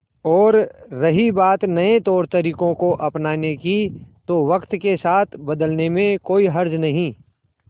और रही बात नए तौरतरीकों को अपनाने की तो वक्त के साथ बदलने में कोई हर्ज नहीं